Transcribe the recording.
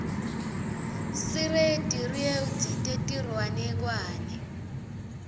sireti rewdzi tetiryanekuane